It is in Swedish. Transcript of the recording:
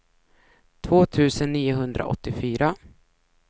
två tusen niohundraåttiofyra